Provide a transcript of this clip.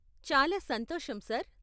చాలా సంతోషం ,సార్.